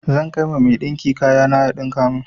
Zan kai ma mai ɗinki kaya na ya ɗinka mun.